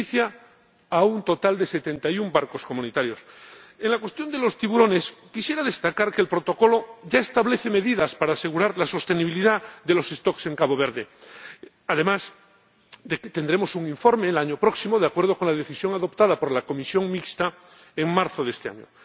Beneficia a un total de 71 barcos comunitarios. En la cuestión de los tiburones, quisiera destacar que el Protocolo ya establece medidas para asegurar la sostenibilidad de las poblaciones en Cabo Verde, además de que tendremos un informe el año próximo, de acuerdo con la decisión adoptada por la Comisión Mixta en marzo de este año.